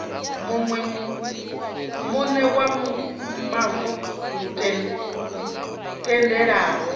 muṋe wa mavu lu tendelaho